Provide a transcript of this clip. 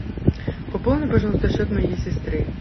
пополни пожалуйста счет моей сестры